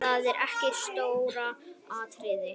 Það er ekki stóra atriðið.